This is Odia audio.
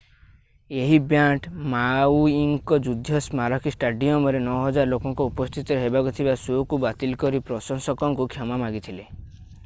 ଏହି ବ୍ୟାଣ୍ଡ ମାଉଇଙ୍କ ଯୁଦ୍ଧ ସ୍ମାରକୀ ଷ୍ଟାଡିୟମରେ 9000 ଲୋକଙ୍କ ଉପସ୍ଥିତିରେ ହେବାକୁ ଥିବା ଶୋ'କୁ ବାତିଲ କରି ପ୍ରଶଂସକଙ୍କୁ କ୍ଷମା ମାଗିଥିଲେ